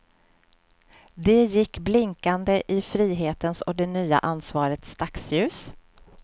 De gick blinkande i frihetens och det nya ansvarets dagsljus.